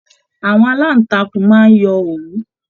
Àwọn alantakun máa n yọ òwú.